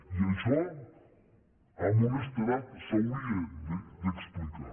i això amb honestedat s’hauria d’explicar